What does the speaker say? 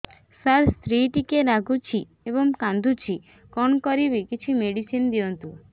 ସାର ସ୍ତ୍ରୀ ଟିକେ ରାଗୁଛି ଏବଂ କାନ୍ଦୁଛି କଣ କରିବି କିଛି ମେଡିସିନ ଦିଅନ୍ତୁ